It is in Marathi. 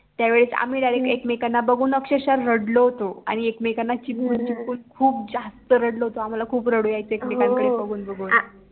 त्या वेळेस आम्ही DIRECT एकेमेकांना बघून अक्षरशः रडलो होतो आणि एकमेकांना चिपकून चिपकून खूप जास्त रडलो होतो आम्हाला खूप रडू यायचं एकमेकांकडे बघून बघून